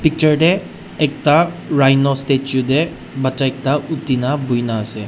picture de ekta rhino statue de bacha ekta uti na buina ase.